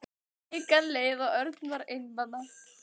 Vikan leið og Örn var einmana.